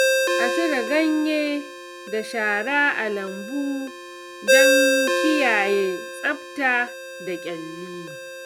A cire ganye da shara a lambu don kiyaye tsafta da ƙyalli.